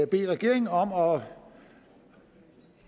bede regeringen om